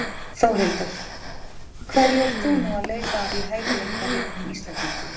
Þórhildur: Hverju ert þú nú að leita að í hæfileikaríkum Íslendingum?